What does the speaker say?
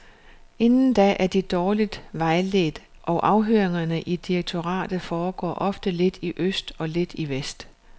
Inden da er de dårligt vejledt og afhøringerne i direktoratet foregår ofte lidt i øst og lidt i vest.